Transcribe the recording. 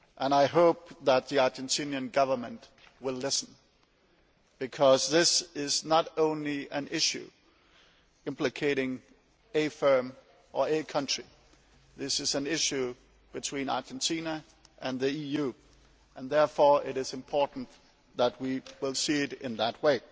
I hope that the Argentine Government will listen, because this is not only an issue implicating a firm or a country, it is an issue between Argentina and the EU, and it is therefore important that we see it that way.